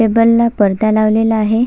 Table ला परदा लावलेला आहे.